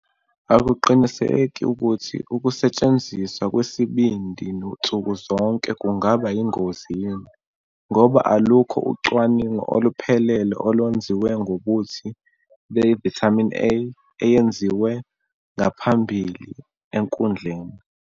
Akuqiniseki ukuthi ukusetshenziswa kwesibindi nsuku zonke kungaba yingozi yini, ngoba alukho ucwaningo oluphelele olwenziwe ngobuthi be-vitamin A eyenziwe ngaphambili ekudleni.